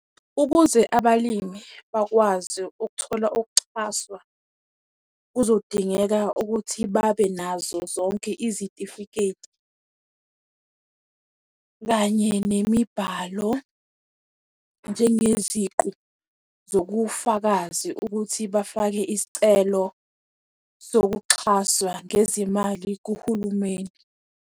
Ukuze abalimi bakwazi ukuthola ukuxhaswa, kuzodingeka ukuthi babenazo zonke izitifiketi, kanye nemibhalo, njengeziqu zobufakazi ukuthi bafake isicelo sokuxhaswa ngezimali kuhulumeni.